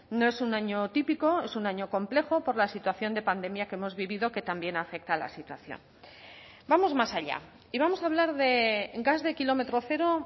no es un año típico es un año complejo por la situación de pandemia que hemos vivido que también afecta a la situación vamos más allá y vamos a hablar de gas de kilómetro cero